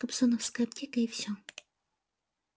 кобзоновская аптека и все